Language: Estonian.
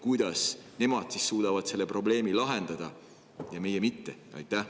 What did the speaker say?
Kuidas nemad siis suudavad selle probleemi lahendada ja meie mitte?